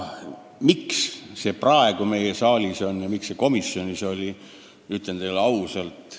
Miks see aga praegu meie saalis on ja miks see komisjonis alles nüüd arutusel oli?